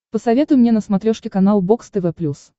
посоветуй мне на смотрешке канал бокс тв плюс